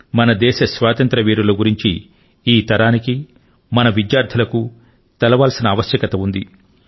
మన దేశ స్వాతంత్ర్య వీరుల గురించి ఈ తరానికి మన విద్యార్థులకు తెలియవలసిన ఆవశ్యకత ఉంది